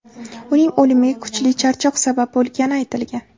Uning o‘limiga kuchli charchoq sabab bo‘lgani aytilgan.